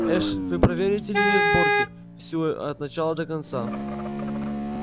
эш вы проверите линию сборки всю от начала до конца